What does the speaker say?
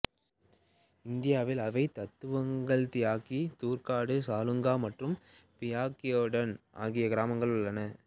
இந்தியாவில் அவை துத்தாங் தியாக்சி துர்டுக் சலுங்கா மற்றும் பியோக்டன் ஆகிய கிராமங்கள் உள்ளன